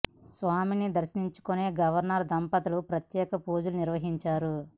స్వామి ని దర్శించుకున్న గవర్నర్ దంపతు లు ప్రత్యేక పూజలు నిర్వహించారు